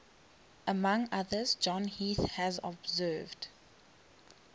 among others john heath has observed